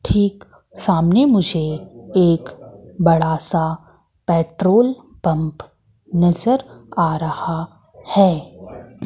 ठीक सामने मुझे एक बड़ा सा पेट्रोल पंप नजर आ रहा है।